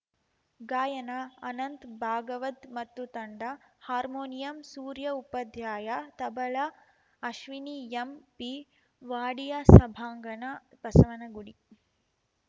ಗಾಯನ ಅನಂತ್ ಭಾಗವತ್‌ ಮತ್ತು ತಂಡ ಹಾರ್ಮೋನಿಯಂ ಸೂರ್ಯ ಉಪಾಧ್ಯಾಯ ತಬಲ ಅಶ್ವಿನಿ ಎಂಪಿ ವಾಡಿಯಾ ಸಭಾಂಗಣ ಬಸವನಗುಡಿ